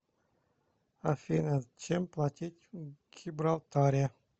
афина чем платить в гибралтаре